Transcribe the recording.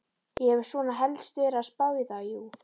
Ég hef svona helst verið að spá í það, jú.